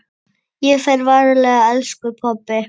Ég fer varlega elsku pabbi.